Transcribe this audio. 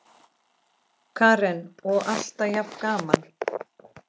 Karen: Og alltaf jafn gaman?